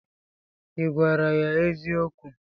Ị gwara ya eziokwu?